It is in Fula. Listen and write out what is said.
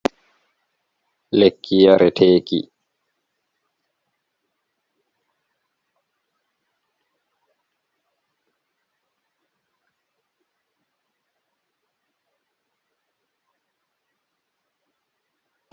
Lekki yareteeki jey himɓe. Kaali maaki daneejum, be binndi nasara a dow. Nder man woodi paalel kolobayel haa nder. Innde lekki man Gestid, ki ɗo waɗa lekki olsa, nden ki ɗo hoyna huɓɓol ɓernde goɗɗo ,to ɗo huɓɓa.